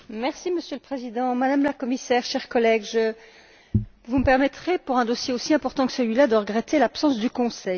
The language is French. Monsieur le Président, Madame la Commissaire, chers collègues, vous me permettrez, pour un dossier aussi important que celui là, de regretter l'absence du Conseil.